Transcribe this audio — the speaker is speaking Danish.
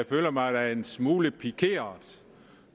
føler mig en smule pikeret